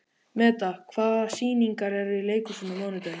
Meda, hvaða sýningar eru í leikhúsinu á mánudaginn?